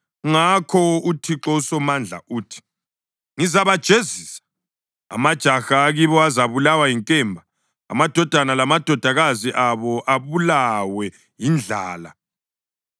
ngakho uThixo uSomandla uthi: “Ngizabajezisa. Amajaha akibo azabulawa yinkemba, amadodana lamadodakazi abo abulawe yindlala.